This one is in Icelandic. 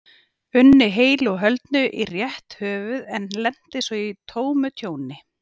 unni heilu og höldnu í rétt höfuð en lenti svo í tómu tjóni.